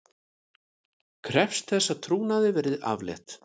Krefst þess að trúnaði verði aflétt